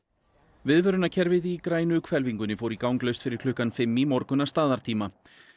viðvörunarkerfið í grænu hvelfingunni fór í gang laust fyrir klukkan fimm í morgun að staðartíma